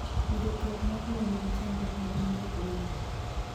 yudo twak mar lowo nigi chandruok maduong' e gwenge